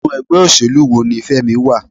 Inú ẹgbẹ́ òṣèlú wo ní Femi wà?